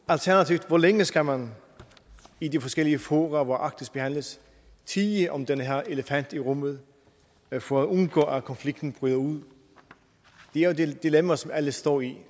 alternativt hvor længe skal man i de forskellige fora hvor arktis behandles tie om den her elefant i rummet for at undgå at konflikten bryder ud det er jo det dilemma som alle står i